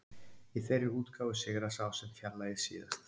Í þeirri útgáfu sigrar sá sem fjarlægir síðast.